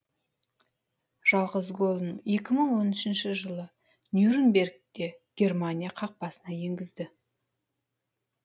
жалғыз голын екі мың он үшінші жылы нюрнбергте германия қақпасына енгізді